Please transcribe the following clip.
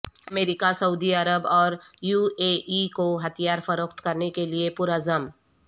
امریکہ سعودی عرب اور یو اے ای کو ہتھیار فروخت کرنے کے لئے پرعزم